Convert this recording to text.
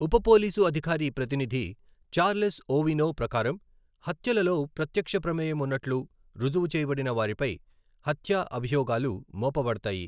ఉప పోలీసు అధికార ప్రతినిధి చార్లెస్ ఓవినో ప్రకారం, హత్యలలో ప్రత్యక్ష ప్రమేయం ఉన్నట్లు రుజువు చేయబడిన వారిపై హత్య అభియోగాలు మోపబడతాయి.